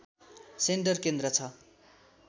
centre केन्द्र छ